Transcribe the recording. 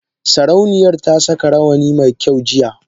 Sarauniyar ta saka rawani mai kyau jiya.